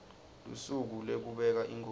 lusuku lekubeka inkhosi